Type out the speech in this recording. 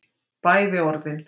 Bæði orðin